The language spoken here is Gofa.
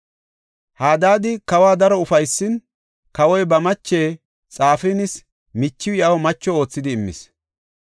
Hadaadi kawa daro ufaysin, kawoy ba mache, Xafinaasi michiw iyaw macho oothidi immis.